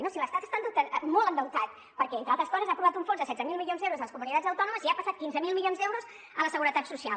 no si l’estat està molt endeutat perquè entre altres coses ha aprovat un fons de setze mil milions d’euros per a les comunitats autònomes i ha passat quinze mil milions d’euros a la seguretat social